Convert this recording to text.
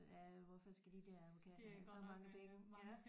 Ja hvorfor skal de der amerikanere have så mange penge ja